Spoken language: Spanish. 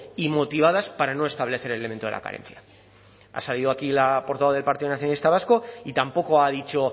y motivadas para no establecer el elemento de la carencia ha salido aquí la portavoz del partido nacionalista vasco y tampoco ha dicho